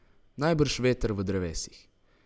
Najbrž veter v drevesih.